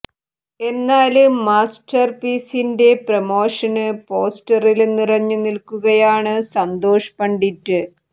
എന്നാല് മാസ്റ്റര് പീസിന്റെ പ്രമോഷന് പോസ്റ്ററില് നിറഞ്ഞു നില്ക്കുകയാണ് സന്തോഷ് പണ്ഡിറ്റ്